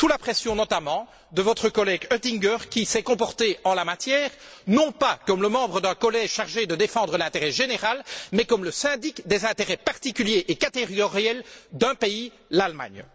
Sous la pression, notamment, de votre collègue Oettinger, qui s'est comporté en la matière non pas comme le membre d'un collège chargé de défendre l'intérêt général, mais comme le syndic des intérêts particuliers et catégoriels d'un pays, l'Allemagne.